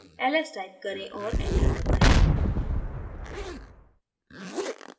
ls type करें और enter दबायें